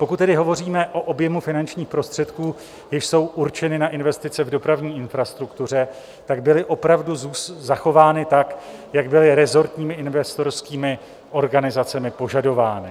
Pokud tedy hovoříme o objemu finančních prostředků, jež jsou určeny na investice v dopravní infrastruktuře, tak byly opravdu zachovány tak, jak byly resortními investorskými organizacemi požadovány.